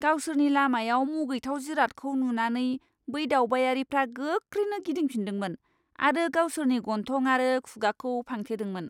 गावसोरनि लामायाव मुगैथाव जिरादखौ नुनानै बै दावबायारिफ्रा गोख्रैनो गिदिंफिन्दोंमोन आरो गावसोरनि गन्थं आरो खुगाखौ फांथेदोंमोन।